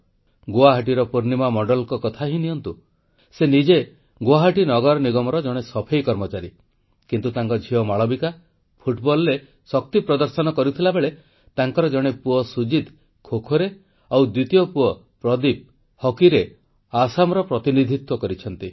ଗୁଆହାଟୀର ପୂର୍ଣ୍ଣିମା ମଣ୍ଡଳଙ୍କ କଥା ହିଁ ନିଅନ୍ତୁ ସେ ନିଜେ ଗୁଆହାଟି ନଗର ନିଗମର ଜଣେ ସଫେଇ କର୍ମଚାରୀ କିନ୍ତୁ ତାଙ୍କ ଝିଅ ମାଳବିକା ଫୁଟବଲରେ ଶକ୍ତି ପ୍ରଦର୍ଶନ କରିଥିଲାବେଳେ ତାଙ୍କର ଜଣେ ପୁଅ ସୁଜିତ ଖୋଖୋରେ ଆଉ ଦ୍ୱିତୀୟ ପୁଅ ପ୍ରଦୀପ ହକିରେ ଆସାମର ପ୍ରତିନିଧିତ୍ୱ କରିଛନ୍ତି